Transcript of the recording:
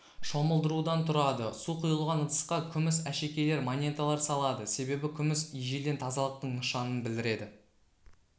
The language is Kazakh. шомылдырудан тұрады су құйылған ыдысқа күміс әшекейлер монеталар салады себебі күміс ежелден тазалықтың нышанын білдіреді